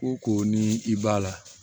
Ko ko ni i b'a la